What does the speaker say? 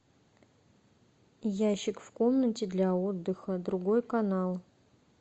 ящик в комнате для отдыха другой канал